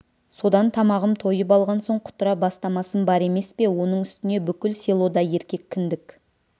содан тамағым тойып алған соң құтыра бастамасым бар емес пе оның үстіне бүкіл селода еркек кіндік